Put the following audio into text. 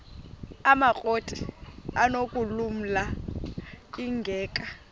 amakrot anokulamla ingeka